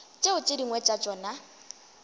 tšeo tše dingwe tša tšona